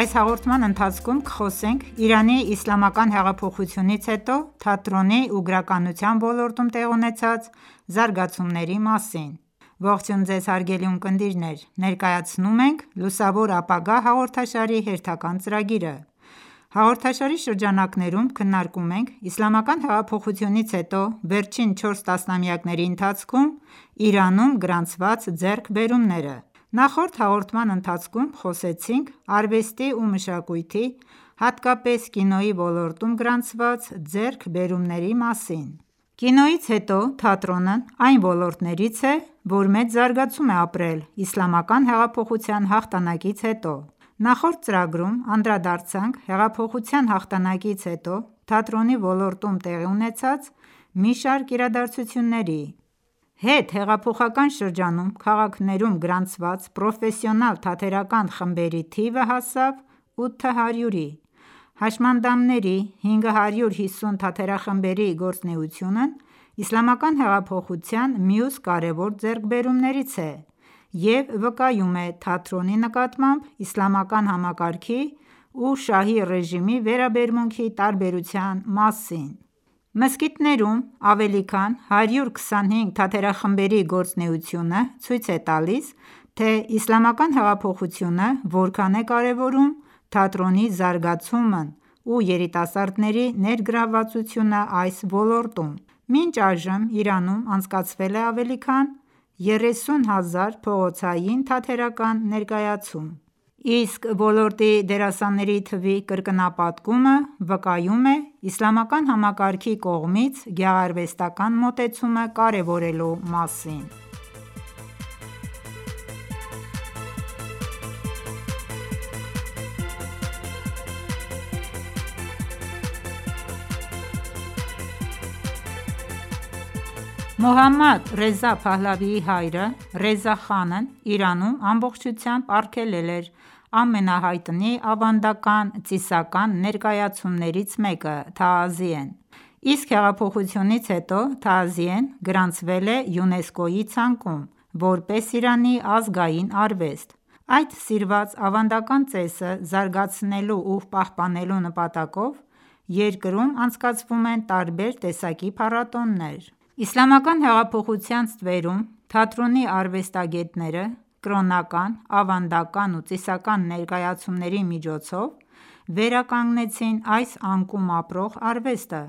այս հաղորդման ընթացքում կխոսենք Իրանի իսլամական հեղափոխությունից հետո թատրոնի ու գրականության ոլորտում տեղի ունեցած զարգացումների մասին: Ողջույն, հարգելի ունկնդիրներ, ներկայացնում ենք «Լուսավոր ապագա» հաղորդաշարի հերթական ծրագիրը: Հաղորդաշարի շրջանակներում քննարկում ենք իսլամական հեղափոխությունից հետո վերջին 4 տասնամյակների ընթացքում Իրանում գրանցված ձեռքբերումները: Նախորդ հաղորդման ընթացքում խոսեցինք արվեստի ու մշակույթի, հատկապես՝ կինոյի ոլորտում գրանցված ձեռքբերումների մասին: Կինոյից հետո, թատրոնն այն ոլորտներից է, որ մեծ զարգացում է ապրել իսլամական հեղափոխության հաղթանակից հետո: Նախորդ ծրագրում անդրադարձանք հեղափոխության հաղթանակից հետո թատրոնի ոլորտում տեղի ունեցած մի շարք իրադարձությունների: Հետհեղափոխական շրջանում, քաղաքներում գրանցված պրոֆեսիոնալ թատերական խմբերի թիվը հասավ 800-ի: Համշանդամների 550 թատերախմբերի գործունեությունն իսլամական հեղափոխության մյուս կարևոր ձեռքբերումներից է և վկայում է թատրոնի նկատմամբ իսլամական համակարգի ու Շահի ռեժիմի վերաբերմունքի տարբերության մասին: Մզկիթներում ավելի քան 125 թատերախմբերի գործունեությունը ցույց է տալիս, թե իսլամական հեղափոխությունը որքան է կարևորում թատրոնի զարգացումն ու երիտասարդների ներգրավվածությունն այս ոլորտում: Մինչ այժմ Իրանում անցկացվել է ավելի քան 30 հազար փողոցային թատերական ներկայացում: Իսկ ոլորտի դերասանների թվի կրկնապատկումը վկայում է իսլամական համակարգի կողմից գեղարվեստական մոտեցումը կարևորելու մասին: Թաազիեն իրանական կրոնածիսային թատրոնի ձև է, որն ունի երկար պատմություն Մոհամմադ Ռեզա Փահալավիի հայրը՝ Ռեզա խանն Իրանում ամբողջությամբ արգելել էր ամենահայտնի ավանդական ծիսական ներկայացումներից մեկը՝ Թաազիեն: Իսկ հեղափոխությունից հետո, Թաազիեն գրանցվել է ՅՈՒԵՆՍԿՕ-ի ցանկում որպես Իրանի ազգային արվեստ: Այդ սիրված ավանդական ծեսը զարգացնելու ու պահպանելու նպատակով, երկրում անցկացվում են տարբեր տեսակի փառատոներ: Իսլամական հեղափոխության ստվերում, թատրոնի արվեստագները, կրոնական, ավանդական ու ծիսական ներկայացումների միջոցով վերականգնեցին այս անկում ապրող արվեստը: